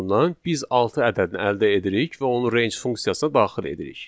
dan biz altı ədədini əldə edirik və onu range funksiyasına daxil edirik.